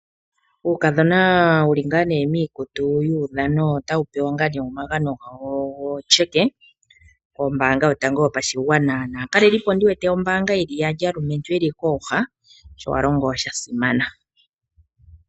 Uukadhona wu li ngaa miikutu yuudhano otawu pewa omagano gawo goshimaliwa kombaanga yotango yopashigwana naakalelipo yombaanga ye li yaali kooha sho ya longo sha simana.